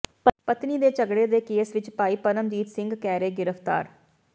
ਪਤਨੀ ਦੇ ਝਗੜੇ ਦੇ ਕੇਸ ਵਿਚ ਭਾਈ ਪਰਮਜੀਤ ਸਿੰਘ ਕੈਰੇ ਗਿ੍ਫ਼ਤਾਰ